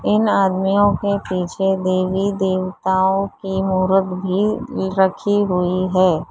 इन आदमियों के पीछे देवी देवताओं की मूरत भी रखी हुई है।